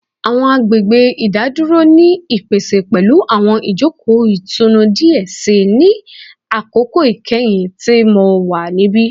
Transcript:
Awọn agbegbe idaduro ni ipese pẹlu awọn ijoko itunu diẹ sii ni akoko ikẹhin ti Mo wa nibi